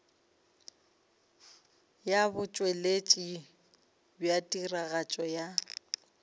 ya botšweletši bja tiragatšo ya